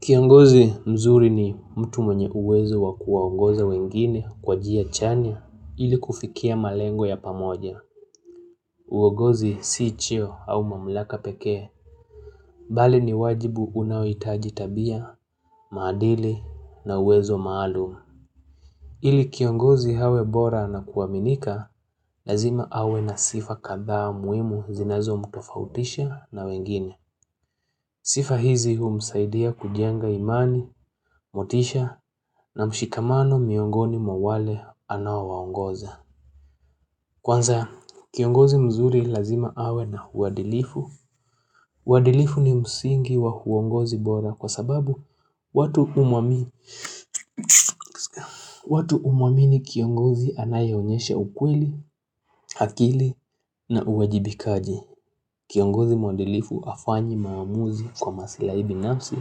Kiongozi mzuri ni mtu mwenye uwezo wa kuwaongoza wengine kwa njia chanya ili kufikia malengo ya pamoja. Uwongozi sii cheo au mamlaka pekee, bali ni wajibu unaoitaji tabia, madili na uwezo maalumu. Ili kiongozi awe bora na kuaminika, lazima awe na sifa kadhaa muimu zinazo mtofautisha na wengine. Sifa hizi humsaidia kujenga imani, motisha na mshikamano miongoni mwa wale anao waongoza. Kwanza, kiongozi mzuri lazima awe na uadilifu. Huadilifu ni msingi wa huongozi bora kwa sababu watu umwamini kiongozi anayeonyesha ukweli, akili na uwajibikaji. Kiongozi mwadilifu afanyi maamuzi kwa masila ibinamsi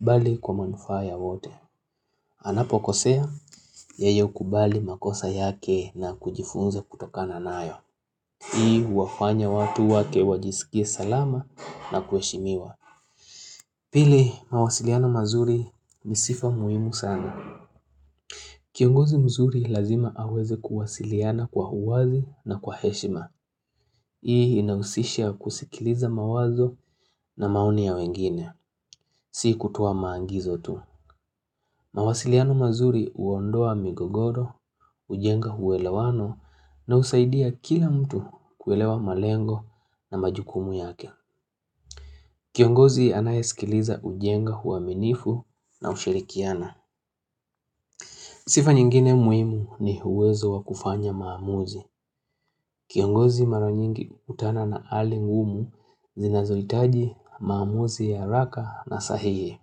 bali kwa manufa ya wote. Anapo kosea, yeye hubali makosa yake na kujifunza kutokana nayo. Hii huwafanya watu wake wajisikie salama na kueshimiwa. Pili mawasiliano mazuri ni sifa muhimu sana. Kiongozi mzuri lazima aweze kuwasiliana kwa uwazi na kwa heshima. Hii ina usisha kusikiliza mawazo na maoni ya wengine. Sii kutowa maagizo tu. Mawasiliano mazuri huondoa migogoro, ujenga uwelewano na husaidia kila mtu kuwelewa malengo na majukumu yake. Kiongozi anayesikiliza ujenga uwaminifu na ushirikiana. Sifa nyingine muhimu ni uwezo wa kufanya maamuzi. Kiongozi maro nyingi hukutana na halingumu zinazohitaji maamuzi ya haraka na sahihi.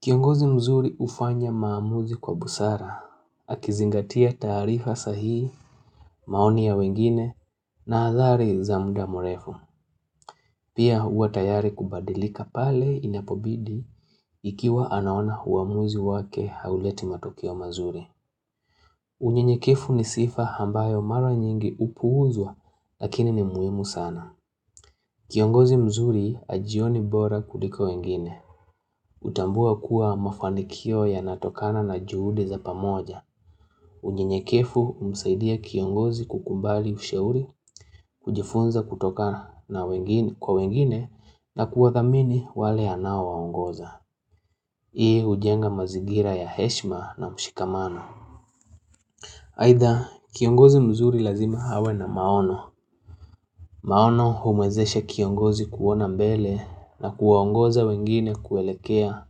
Kiongozi mzuri ufanya maamuzi kwa busara, akizingatia tarifa sahihi, maoni ya wengine, na adhari za mda murefu. Pia uwe tayari kubadilika pale inapobidi ikiwa anaona uwamuzi wake hauleti matokeo mazuri. Unyenye kevu ni sifa ambayo mara nyingi upuuzwa lakini ni muhimu sana. Kiongozi mzuri ajioni bora kuliko wengine. Utambua kuwa mafanikio ya natokana na juhudi za pamoja. Unyenyekevu humsaidia kiongozi kukubali ushauri, kujifunza kutoka kwa wengine na kuwa thamini wale anao waongoza. Yeye hujenga mazigira ya heshma na mshikamano. Aidha, kiongozi mzuri lazima awe na maono. Maono humwezesha kiongozi kuona mbele na kuwaongoza wengine kuelekea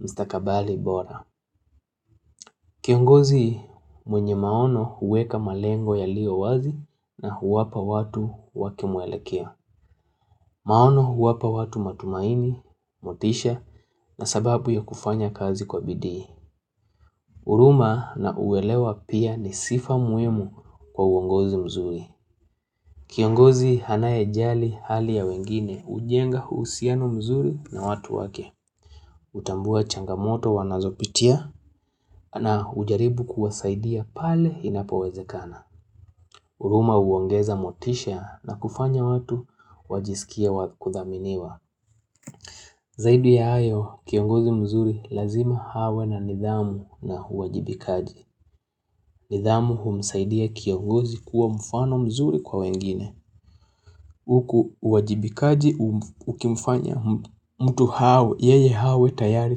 mstakabali bora. Kiongozi mwenye maono huweka malengo yaliyo wazi na huwapa watu wake mwelekeo. Maono huwapa watu matumaini, motisha na sababu ya kufanya kazi kwa bidii. Huruma na uwelewa pia ni sifa muhimu kwa uongozi mzuri. Kiongozi anae jali hali ya wengine ujenga usiano mzuri na watu wake. Utambua changamoto wanazopitia na hujaribu kuwasaidia pale inapowezekana. Huruma uongeza motisha na kufanya watu wajisikia wakuthaminiwa. Zaidi ya ayo, kiongozi mzuri lazima awe na nidhamu na uwajibikaji. Nidhamu humsaidia kiongozi kuwa mfano mzuri kwa wengine. Huku wajibikaji ukimfanya mtu hawe, yeye hawe tayari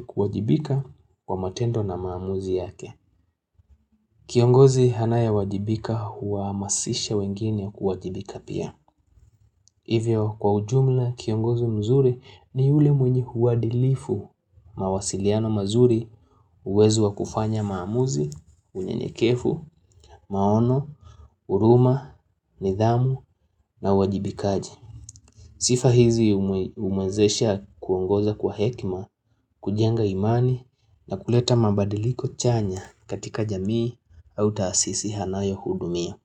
kuwajibika kwa matendo na maamuzi yake. Kiongozi anaye wajibika huwa amasisha wengine kuwajibika pia. Hivyo kwa ujumla kiongozi mzuri ni yule mwenye uadilifu. Mawasiliano mazuri uwezo wa kufanya maamuzi, unyenyekevu, maono, uruma, nidhamu na wajibikaji. Sifa hizi umwezesha kuongoza kwa hekma, kujenga imani na kuleta mabadiliko chanya katika jamii au taasisi anayo hudumia.